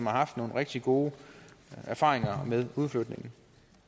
har haft nogle rigtig gode erfaringer med udflytning